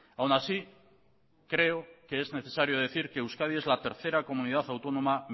aun así creo que es necesario decir que euskadi es la tercera comunidad autónoma